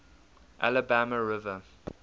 alabama river